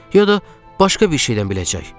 Ya da başqa bir şeydən biləcək.